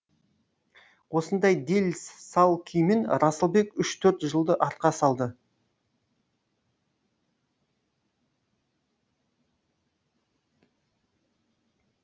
осындай дел сал күймен расылбек үш төрт жылды артқа салды